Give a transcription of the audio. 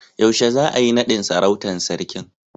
Yaushe za'a yi nadin sarautan sarkin?